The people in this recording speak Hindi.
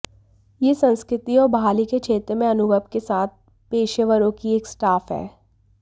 यह संस्कृति और बहाली के क्षेत्र में अनुभव के साथ पेशेवरों की एक स्टाफ है